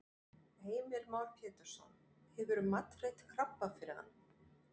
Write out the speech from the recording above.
Heimir Már Pétursson: Hefurðu matreitt krabba fyrir hann?